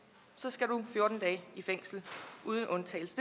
så skal du fjorten dage i fængsel uden undtagelse